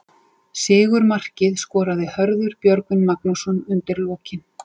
Sigurmarkið skoraði Hörður Björgvin Magnússon undir lokin.